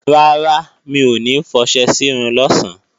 Rárá, mi ò ní fọṣẹ sírun lọ̀sán